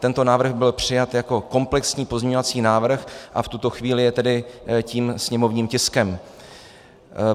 Tento návrh byl přijat jako komplexní pozměňovací návrh a v tuto chvíli je tedy tím sněmovním tiskem.